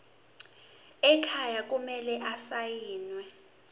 ekhaya kumele asayiniwe